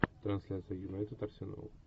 трансляция юнайтед арсенал